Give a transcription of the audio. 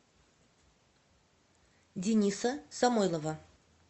дениса самойлова